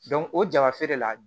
o jabafere la